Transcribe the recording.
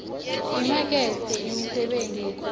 imakethe yemisebenti yetandla